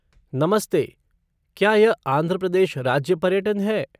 नमस्ते, क्या यह आंध्र प्रदेश राज्य पर्यटन है?